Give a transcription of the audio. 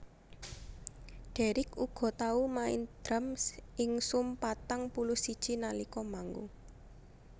Deryck uga tau main drum ing Sum patang puluh siji nalika manggung